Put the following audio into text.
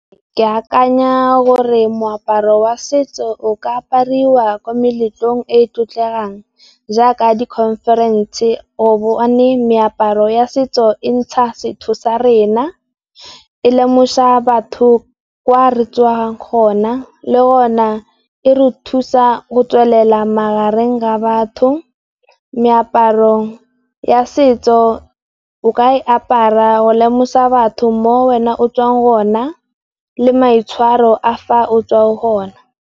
Ke akanya gore moaparo wa setso o ka aparwa ko meletlong e e tlotlegang jaaka di khonferense, yone meaparo ya setso e ntsha setho sa rena, e lemosa batho kwa re tswang gona le hona e re thusa go tswelela magareng ga batho. Meaparo ya setso o ka e apara go lemosa batho mo wena o tswang hona le maitshwaro a fa o tswa o hona.